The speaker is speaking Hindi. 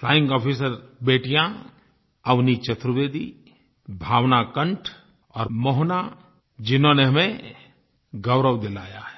फ्लाइंग आफिसर बेटियाँ अवनि चतुर्वेदी भावना कंठ और मोहना जिन्होंने हमें गौरव दिलाया है